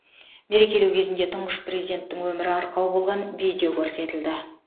мерекелеу кезінде тұңғыш президенттің өмірі арқау болған видео көрсетілді